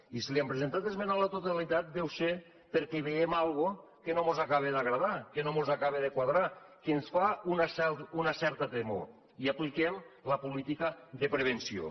i si hi hem presentat esmena a la totalitat deu ser perquè hi veiem alguna cosa que no mos acaba d’agradar que no mos acaba de quadrar que ens fa una certa temor i apliquem la política de prevenció